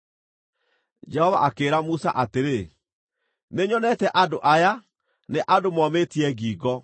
Jehova akĩĩra Musa atĩrĩ, “Nĩnyonete andũ aya, nĩ andũ momĩtie ngingo.